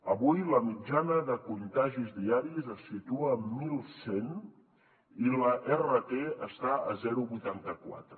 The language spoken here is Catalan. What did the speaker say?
avui la mitjana de contagis diaris es situa en mil cent i l’rt està a zero coma vuitanta quatre